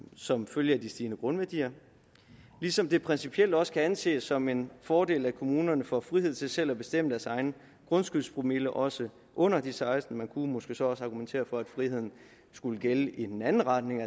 som følge af de stigende grundværdier ligesom det principielt også kan anses som en fordel at kommunerne får frihed til selv at bestemme deres egen grundskyldspromille også under de sekstende man kunne måske så også argumentere for at friheden skulle gælde i den anden retning